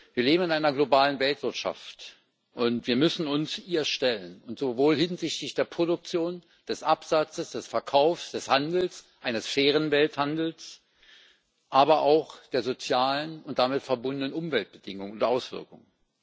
Wir leben in einer globalen Weltwirtschaft, und wir müssen uns ihr stellen, sowohl hinsichtlich der Produktion, des Absatzes, des Verkaufs, des Handels eines fairen Welthandels als auch hinsichtlich der sozialen und damit verbundenen Umweltbedingungen und auswirkungen.